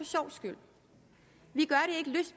sjovs skyld